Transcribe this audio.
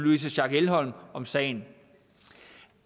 louise schack elholm om sagen